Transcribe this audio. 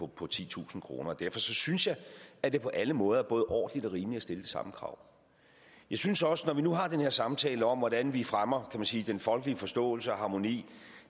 på titusind kroner derfor synes jeg at det på alle måder er både ordentligt og rimeligt at stille de samme krav jeg synes også når vi nu har den her samtale om hvordan vi fremmer man sige den folkelige forståelse og harmoni